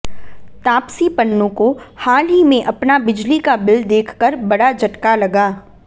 तापसी पन्नू को हाल ही में अपना बिजली का बिल देखकर बड़ा झटका लगा